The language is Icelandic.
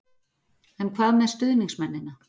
En hvað með stuðningsmennina?